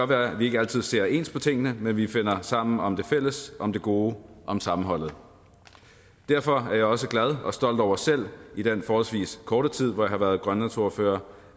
være at vi ikke altid ser ens på tingene men vi finder sammen om det fælles om det gode om sammenholdet derfor er jeg også glad og stolt over selv i den forholdsvis korte tid hvor jeg har været grønlandsordfører